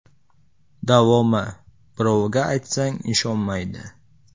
Davomi: “Birovga aytsang ishonmaydi.